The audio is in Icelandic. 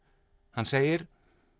hann segir